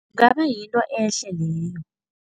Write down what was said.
Ngaba yinto ehle leyo.